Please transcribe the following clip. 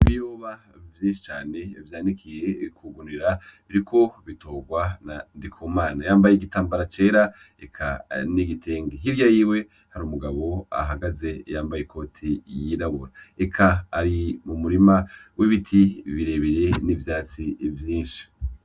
Ibiyoba vyinshi cane vyanikiye ku gunira, biriko bitorwa na Ndikumana. Yambaye igitambara cera eka n'igitenge. Hirya yiwe hari umugabo ahagaze yambaye ikoti yirabura, eka ari mu murima w' ibiti birebire n'ivyatsi vyinshi.